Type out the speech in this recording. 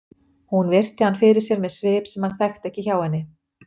Hún virti hann fyrir sér með svip sem hann þekkti ekki hjá henni.